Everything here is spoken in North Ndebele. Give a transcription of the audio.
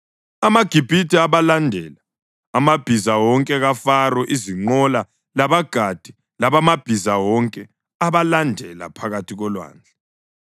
AmaGibhithe abalandela, amabhiza wonke kaFaro, izinqola labagadi bamabhiza bonke babalandela phakathi kolwandle.